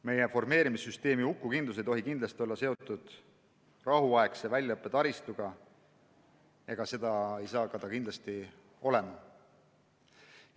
Meie formeerimissüsteemi hukukindlus ei tohi olla seotud rahuaegse väljaõppe taristuga ja seda ei saa see ka olema.